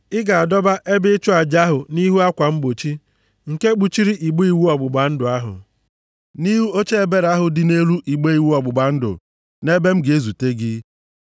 Ị ga-adọba ebe ịchụ aja ahụ nʼihu akwa mgbochi nke kpuchiri igbe iwu ọgbụgba ndụ ahụ, nʼihu oche ebere ahụ dị nʼelu igbe iwu ọgbụgba ndụ, nʼebe m ga-ezute gị.